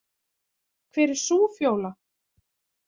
Hver er sú Fjóla?